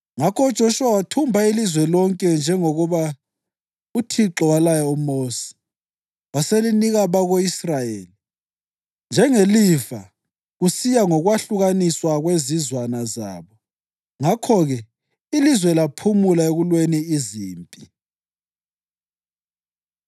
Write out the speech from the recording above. Ngakho uJoshuwa wathumba ilizwe lonke njengoba uThixo walaya uMosi, waselinika abako-Israyeli njengelifa kusiya ngokwahlukaniswa kwezizwana zabo. Ngakho-ke ilizwe laphumula ekulweni izimpi.